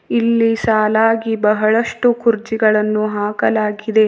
ಇಲ್ಲಿ ಸಾಲಾಗಿ ಬಹಳಷ್ಟು ಕುರ್ಚಿಗಳನ್ನು ಹಾಕಲಾಗಿದೆ.